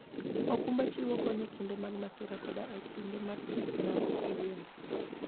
okumba chiwo kony e kinde mag masira koda e kinde mag gik maok igeno.